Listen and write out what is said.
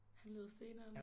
Han lyder steneren